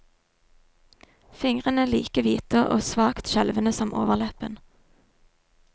Fingrene like hvite og svakt skjelvende som overleppen.